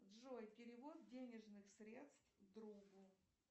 джой перевод денежных средств другу